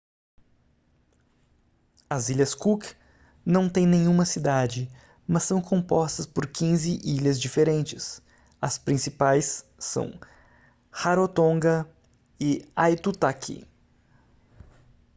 as ilhas cook não têm nenhuma cidade mas são compostas por 15 ilhas diferentes as principais são rarotonga e aitutaki